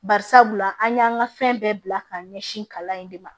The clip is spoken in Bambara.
Bari sabula an y'an ka fɛn bɛɛ bila k'a ɲɛsin kalan in de ma